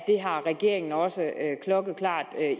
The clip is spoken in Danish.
har regeringen også klokkeklart